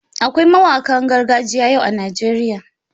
Akwai mawanƙan gargajiya yau a Najeriya.